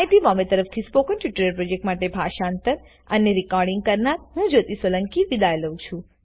iit Bombay તરફથી spoken tutorial project માટે ભાષાંતર કરનાર હું જ્યોતી સોલંકી વિદાય લઉં છું